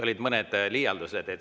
Olid mõned liialdused.